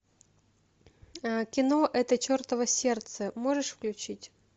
кино это чертово сердце можешь включить